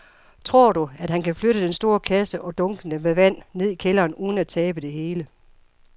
Tror du, at han kan flytte den store kasse og dunkene med vand ned i kælderen uden at tabe det hele?